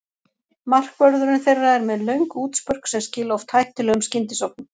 Markvörðurinn þeirra er með löng útspörk sem skila oft hættulegum skyndisóknum.